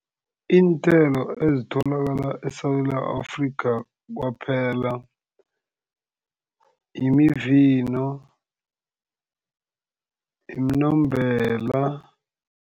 Iinthelo ezitholakala eSewula Afrika kwaphela imivino, iminombela.